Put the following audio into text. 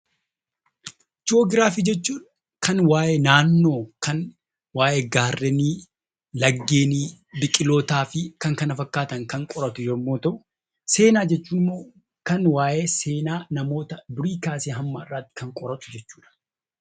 Jii'oogiraafii jechuun kan waayee naannoo, kan waayee gaarrenii , laggeenii, biqilootaa fi kan kana fakkaatan kan qoratu yommuu ta'u, seenaa jechuun kan waayee seenaa namoota durii kaasee hamma yoonaatti kan qoratu jechuudha.